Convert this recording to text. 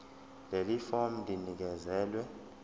leli fomu linikezelwe